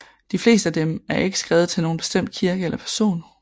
De fleste af dem er ikke skrevet til nogen bestemt kirke eller person